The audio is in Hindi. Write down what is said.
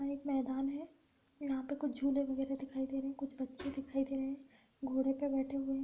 यहाँ एक मैदान है। यहाँ पे कुछ झूले वगैरह दिखाई दे रहें कुछ बच्चे दिखाई दे रहें घोड़े पे बैठे हुए हैं।